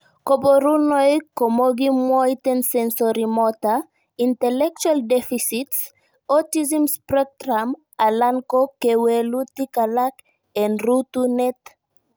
Koborunoik komokimwoitoen sensorimotor, intellectual deficits, autism spectrum alan ko kewelutik alak en rutunet.